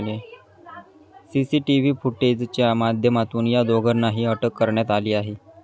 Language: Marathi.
सीसीटीव्ही फुटेजच्या माध्यमातून या दोघांनाही अटक करण्यात आली आहे.